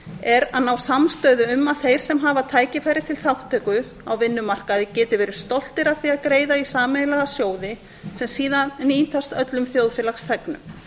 er að ná samstöðu um að þeir sem hafa tækifæri til þátttöku á vinnumarkaði geti verið stoltir af því að greiða í sameiginlega sjóði sem síðan nýtast öllum þjóðfélagsþegnum